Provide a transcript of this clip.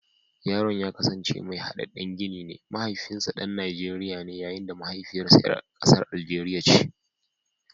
Yaron ya kasance mai hadaddan gini ne, mahaifinsa dan Najeriya ne yayin da mahaifiyarsa ‘yar kasar Algeria ce.